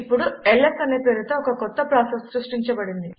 ఇప్పుడు ల్స్ అనే పేరుతో ఒక కొత్త ప్రాసెస్ సృష్టించబడింది